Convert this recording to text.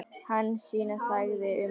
Hansína þagði um stund.